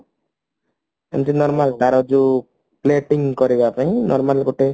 ଯେମତି normal ଯେମତି ତାର ଯୋଉ plating କରିବା ପାଇଁ ତାର ଗୋଟେ